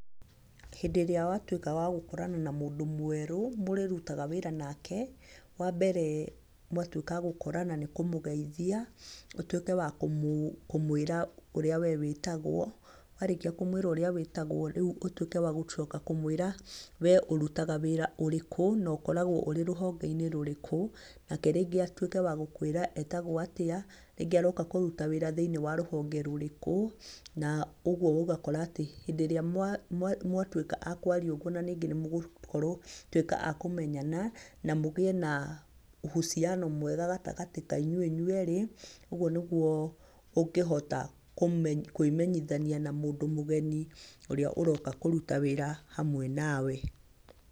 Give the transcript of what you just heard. Hĩndĩ ĩrĩa watuĩka wa gũkorana na mũndũ mwerũ mũrĩrutaga wĩra nake, wa mbere, mwatuĩka a gũkorana nĩ kũmugeithia, ũtuĩke wa kũmwĩra ũrĩa we wĩtagwo, warĩkia kũmwĩra we wĩtagwo, rĩu ũtuĩke wa kũmwĩra we ũrutaga wĩra ũrĩkũ, na ũkoragwo ũrĩ rũhonge-inĩ rũrĩkũ, nake rĩngĩ atuĩke wa gũkwĩra etagwo atĩa, rĩngĩ aroka kũruta wĩra thĩiniĩ wa rũhonge rũrĩkũ, na ũguo ũgakora atĩ, hĩndĩ ĩrĩa mwatuĩka a kwaria ũguo na ningĩ mũgũkorwo a kũmenyana, na mũgĩe na uhusiano mwega gatagatĩ ka inyuĩ inywerĩ. Ũguo nĩguo ũngĩhota kũĩmenyithania na mũndũ mũgeni, ũrĩa ũroka kũruta wĩra hamwe nawe.